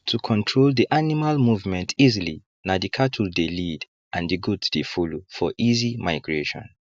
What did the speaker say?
to control the animal movement easily na the cattle dey lead and the goat dey follow for easy migration